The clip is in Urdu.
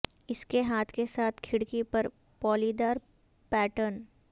اس کے ہاتھ کے ساتھ کھڑکی پر پالیدار پیٹرن